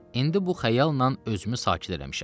İndi bu xəyallan özümü sakit eləmişəm.